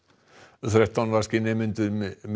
þrettán vaskir nemendur